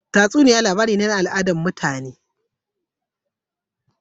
Tatsuniya labari ne na al'ada na mutane